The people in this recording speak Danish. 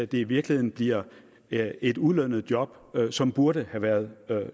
det i virkeligheden bliver et ulønnet job som burde have været